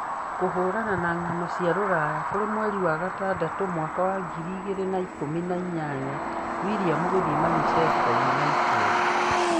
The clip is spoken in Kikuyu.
Kũhũũrana na Ng'ano cia Rũraya kũrĩ mweri wa gatandatũ, mwaka wa ngiri igĩrĩ na ikũmi na inyanya:Willian gũthiĩ Manchester United?